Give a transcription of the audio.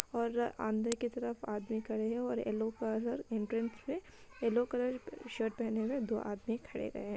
और अ अंदर की तरफ आदमी खड़े हैं और येलो कलर एंट्रेंस पे येलो कलर की शर्ट पहने हुए दो आदमी खड़े रहे।